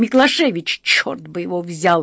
миклашевич черт бы его взял